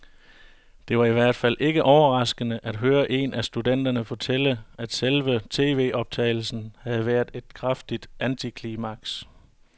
Det var i hvert fald ikke overraskende at høre en af studenterne fortælle, at selve tvoptagelsen havde været et kraftigt antiklimaks.